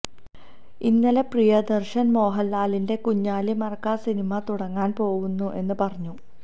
ഇന്നലെ പ്രിയദര്ശന് മോഹന്ലാലിന്റെ കുഞ്ഞാലി മരക്കാര് സിനിമ തുടങ്ങാന് പോവുന്നു എന്ന് പറഞ്ഞു